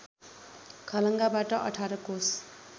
खलङ्गाबाट १८ कोष